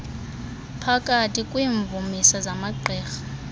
uphakathi kwiimvumisa zamagqirha